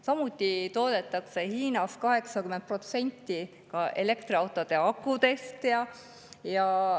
Samuti toodetakse Hiinas 80% elektriautode akudest.